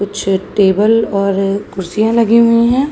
कुछ टेबल और कुर्सियाँ लगी हुई हैं।